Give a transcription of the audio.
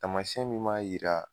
Taamasɛn min b'a yira